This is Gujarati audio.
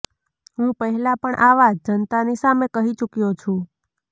હું પહેલા પણ આ વાત જનતાની સામે કહી ચૂક્યો છું